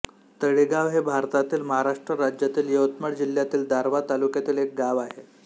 तळेगाव हे भारतातील महाराष्ट्र राज्यातील यवतमाळ जिल्ह्यातील दारव्हा तालुक्यातील एक गाव आहे